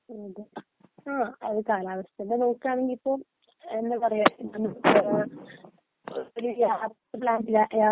അതേ ആ അത് കാലാവസ്ഥ തന്നെ നോക്കുകയാണെങ്കിൽ ഇപ്പോ എന്താ പറയാ ഒരു യാത്ര പ്ലാൻ